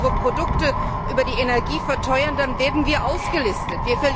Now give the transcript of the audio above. Wenn wir unsere Produkte über die Energie verteuern, dann werden wir ausgelistet.